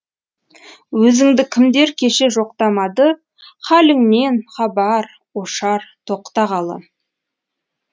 өзіңді кімдер кеше жоқтамады халіңнен хабар ошар тоқтағалы